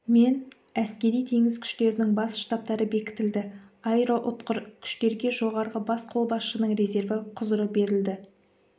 мен әскери теңіз күштерінің бас штабтары бекітілді аэроұтқыр күштерге жоғарғы бас қолбасшының резерві құзыры берілді